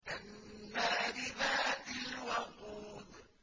النَّارِ ذَاتِ الْوَقُودِ